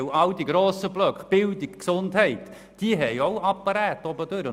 Die grossen Blöcke Bildung und Gesundheit haben auch Überbauten.